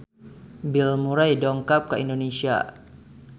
Bill Murray dongkap ka Indonesia